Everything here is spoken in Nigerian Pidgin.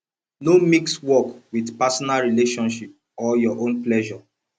no mix work with personal relationship or your own pleasure